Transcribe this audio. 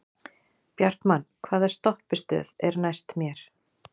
Bjartmann, hvaða stoppistöð er næst mér?